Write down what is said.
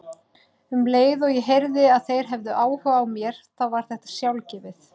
Um leið og ég heyrði að þeir hefðu áhuga á mér þá var þetta sjálfgefið.